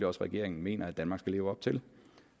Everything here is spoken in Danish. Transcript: også regeringen mener at danmark skal leve op til